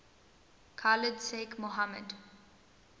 khalid sheikh mohammed